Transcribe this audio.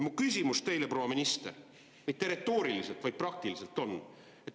Mu küsimus teile, proua minister – mitte retooriliselt, vaid praktiliselt – on see.